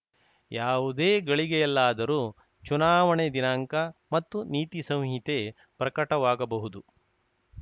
ಯಾವುದೇ ಗಳಿಗೆಯಲ್ಲಾದರೂ ಚುನಾವಣೆ ದಿನಾಂಕ ಮತ್ತು ನೀತಿ ಸಂಹಿತೆ ಪ್ರಕಟವಾಗಬಹುದು